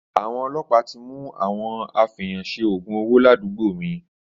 Àwọn ọlọpà ti mú àwọn àfẹyànsẹ ògún òwó làdúgbò mi.